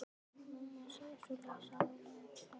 Má maður segja svoleiðis? sagði Ólafur og hló.